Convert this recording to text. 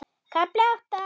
KAFLI ÁTTA